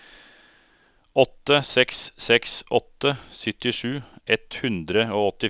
åtte seks seks åtte syttisju ett hundre og åttifire